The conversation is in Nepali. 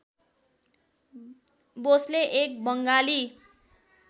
बोसले एक बङ्गाली